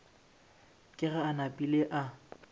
ke ge a napile a